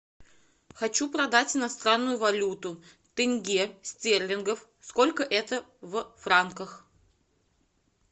хочу продать иностранную валюту тенге стерлингов сколько это в франках